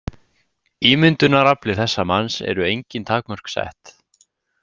Ímyndunarafli þessa manns eru engin takmörk sett.